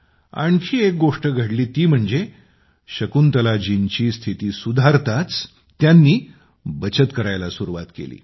आणखी एक गोष्ट घडली ती म्हणजे शकुंतलाजींची स्थिती सुधारताच त्यांनी बचत करायला सुरुवात केली